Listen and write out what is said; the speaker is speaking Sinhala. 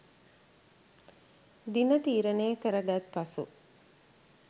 දින තීරණය කරගත් පසු